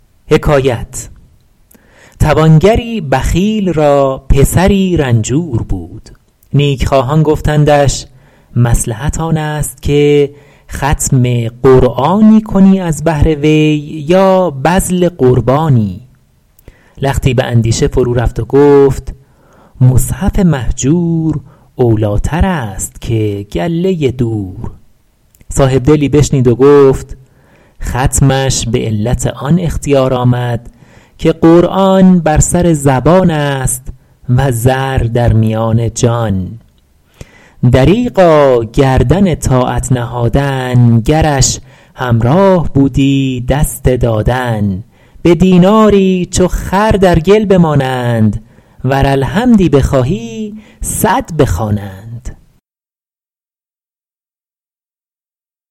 توانگری بخیل را پسری رنجور بود نیکخواهان گفتندش مصلحت آن است که ختم قرآنی کنی از بهر وی یا بذل قربانی لختی به اندیشه فرورفت و گفت مصحف مهجور اولیتر است که گله دور صاحبدلی بشنید و گفت ختمش به علت آن اختیار آمد که قرآن بر سر زبان است و زر در میان جان دریغا گردن طاعت نهادن گرش همراه بودی دست دادن به دیناری چو خر در گل بمانند ور الحمدی بخواهی صد بخوانند